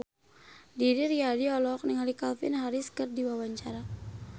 Didi Riyadi olohok ningali Calvin Harris keur diwawancara